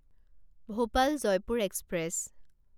Bhopal Jaipur express